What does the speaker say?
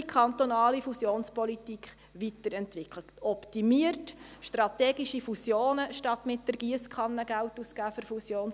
Sie soll optimiert werden, und es sollen strategische Fusionen angepeilt statt mit der Giesskanne Geld ausgegeben werden.